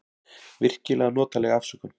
Virkilega notaleg afsökun.